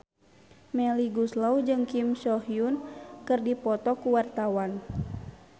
Melly Goeslaw jeung Kim So Hyun keur dipoto ku wartawan